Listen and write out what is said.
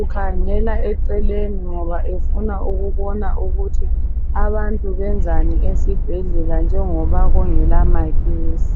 ukhangela eceleni ngoba efuna ukubona ukuthi abantu benzani esibhedlela njengoba kungela magesi.